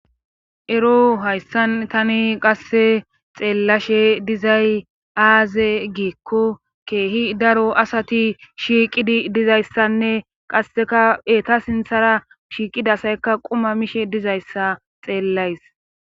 Ero hayssa tani qasse xeelashe dizay aazee giiko keehi daro asati shiiqidi dizayssane qassekka eeta sinththara shiiqida asaykka quma mishe dizayssa xeelays.